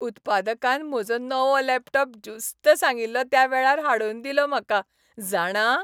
उत्पादकान म्हजो नवो लॅपटॉप ज्युस्त सांगिल्लो त्या वेळार हाडून दिलो म्हाका, जाणा!